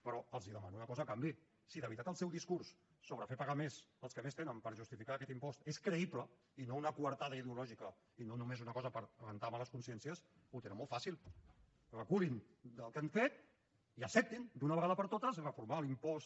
però els demano una cosa a canvi si de veritat el seu discurs sobre fer pagar més als que més tenen per justificar aquest impost és creïble i no una coartada ideològica i no només una cosa per rentar males consciències ho tenen molt fàcil reculin del que han fet i acceptin d’una vegada per totes reformar l’impost